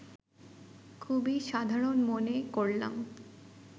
খুবই সাধারণ মনে করলাম